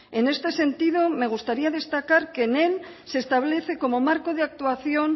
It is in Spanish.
en este sentido me gustaría destacar que en él se establece como marco de actuación